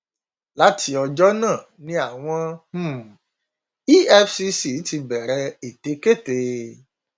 láti ọjọ náà ni àwọn um ]cs] efcc ti bẹrẹ ètekéte